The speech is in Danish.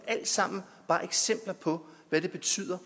er alt sammen bare eksempler på hvad det betyder